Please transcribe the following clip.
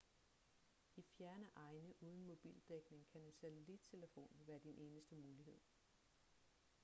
i fjerne egne uden mobildækning kan en satellittelefon være din eneste mulighed